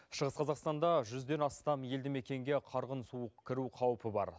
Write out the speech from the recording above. шығыс қазақстанда жүзден астам елді мекенге қарғын су кіру қаупі бар